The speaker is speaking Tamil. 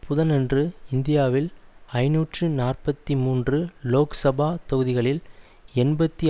புதனன்று இந்தியாவின் ஐநூற்று நாற்பத்தி மூன்று லோக் சபா தொகுதிகளில் எண்பத்தி